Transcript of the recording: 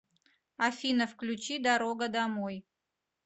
афина включи дорога домой